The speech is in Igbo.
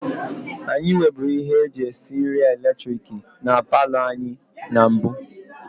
Anyị nweburu ihe eji esi nri eletiriki na paalọ anyị na mbụ